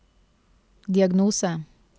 diagnose